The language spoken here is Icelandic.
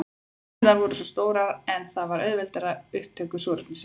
Nasirnar voru stórar en það auðveldar upptöku súrefnis.